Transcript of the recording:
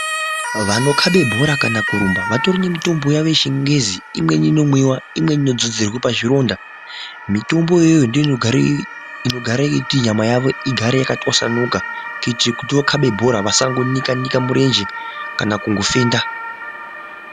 Vanokhaba bhora kana kuramba vatori nemitombo yawo yechingezi, imweni inodzozerwa pazvironda, mitombo iyoyo ndiyo inogare yeiti nyama yawo igare yakatwasanuka kuti weikhaba bhora wasanika murenje kana kufenda.